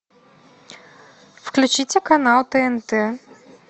включите канал тнт